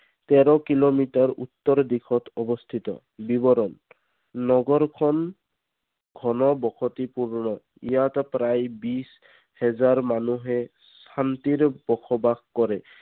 তেৰ কিলোমিটাৰ উত্তৰ দিশত অৱস্থিত বিৱৰণ নগৰখন খন বসতি পুৰ্ণ ইয়াত প্ৰায় বিছ হেজাৰ মানুহে শান্তিৰে বসবাস কৰে।